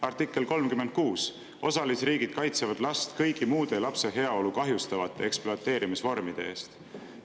Artikkel 36: osalisriigid kaitsevad last kõigi muude lapse heaolu kahjustavate ekspluateerimisvormide eest.